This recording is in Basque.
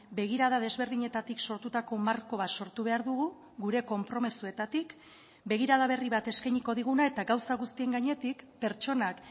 begirada desberdinetatik sortutako marko bat sortu behar dugu gure konpromisoetatik begirada berri bat eskainiko diguna eta gauza guztien gainetik pertsonak